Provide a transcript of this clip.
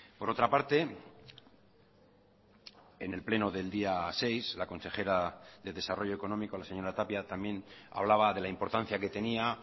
por otra parte en el pleno del día seis la consejera de desarrollo económico la señora tapia también hablaba de la importancia que tenía